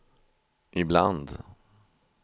ibland